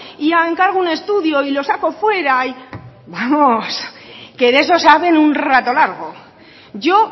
y encargo un estudio y lo saco fuera vamos que de eso saben un rato largo yo